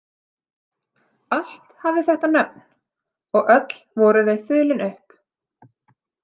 Allt hafði þetta nöfn, og öll voru þau þulin upp.